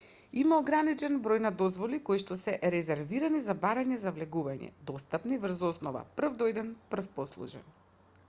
има ограничен број на дозволи коишто се резервирани за барања за влегување достапни врз основа прв дојден прв послужен